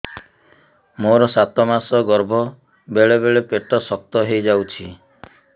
ମୋର ସାତ ମାସ ଗର୍ଭ ବେଳେ ବେଳେ ପେଟ ଶକ୍ତ ହେଇଯାଉଛି